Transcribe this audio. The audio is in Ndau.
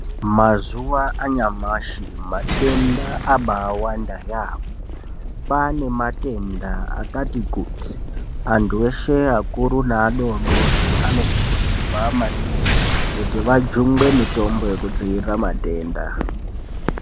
Mazuva anyamashi, matenda abai wanda yaambo kwaane matenda akati kuti antu eshee akuru neadoodori anokurudzirwa maningi kuti ajungwe mitombo yekudzivirira matenda.